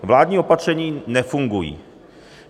Vládní opatření nefungují.